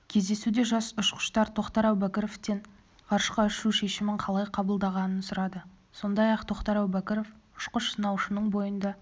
кездесуде жас ұшқыштар тоқтар әубәкіровтен ғарышқа ұшу шешімін қалай қабылдағанын сұрады сондай-ақ тоқтар әубәкіров ұшқыш-сынаушының бойында